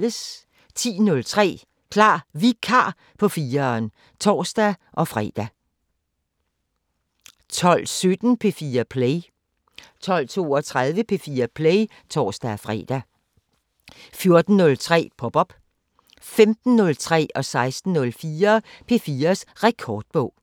10:03: Klar Vikar på 4'eren (tor-fre) 12:17: P4 Play 12:32: P4 Play (tor-fre) 14:03: Pop op 15:03: P4's Rekordbog 16:04: P4's Rekordbog